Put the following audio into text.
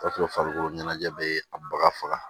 farikolo ɲɛnajɛ bɛ a baga faga